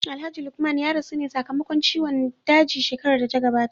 Alhaji maikudi ya rasu ne sa kamakon ciwon daji shekarar data gabata